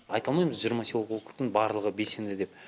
айта алмаймыз жиырма поселоктың барлығы белсенді деп